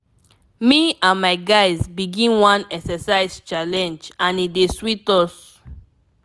me and my guys begin one exercise challenge and e dey sweet us.